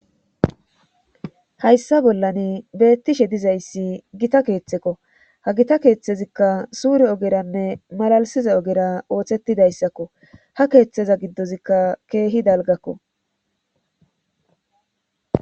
hayssa bollan beettishe dizayssi gita keeththekko ha gita keeththezikka suure ogeranne malalisiza ogera ooththetidayssakko ha keeththeza giddozikka keehi dalgakko